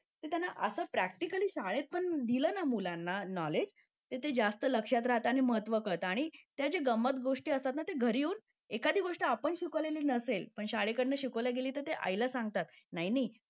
ते असं प्रॅक्टिकली शाळेत पण दिलं नाही मुलांना नॉलेज तर ते जास्त लक्षात राहतं आणि महत्त्व कळत आणि त्याची गंमत गोष्टी असतील ना ती घरी येऊन एखादी ती गोष्ट आपण शिकवली नसेल आणि शाळेकडून शिकवली असेल तर ते आईला सांगतात